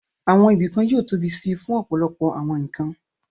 Àwọn ibìkan yóò tóbi síi fún ọ̀pọ̀lọpọ̀ àwọn nǹkan